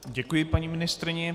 Děkuji paní ministryni.